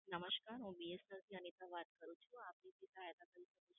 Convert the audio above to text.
નમશકાર હું BSNL થી અનીતા વાત કરું છું. આપની શું સહાયતા કરી શકું?